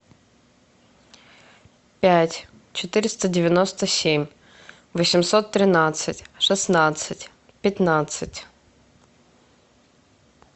пять четыреста девяносто семь восемьсот тринадцать шестнадцать пятнадцать